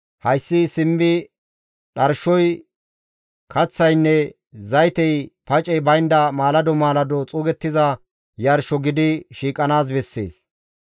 Hayssi simmi dharshoy, kaththaynne zaytey pacey baynda maalado maalado xuugettiza yarsho gidi shiiqanaas bessees.